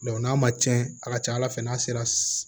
n'a ma cɛn a ka ca ala fɛ n'a sera